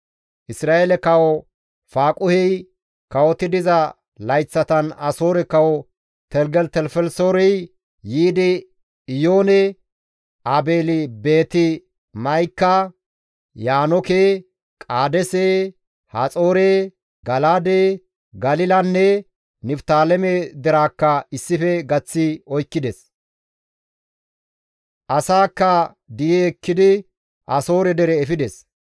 Isra7eele kawo Faaquhey kawoti diza layththatan Asoore kawo Teligelitelifelisoorey yiidi Iyoone, Aabeeli-Beeti-Ma7ika, Yaanooke, Qaadeese, Haxoore, Gala7aade, Galilanne Niftaaleme deraakka issife gaththi oykkides. Asaakka di7i ekkidi Asoore dere efides.